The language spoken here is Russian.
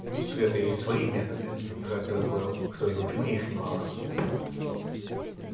у света есть свои методы жаль только что и у тьмы их немало